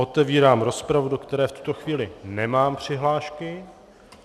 Otevírám rozpravu, do které v tuto chvíli nemám přihlášky.